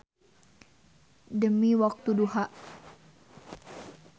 Demi waktu duha.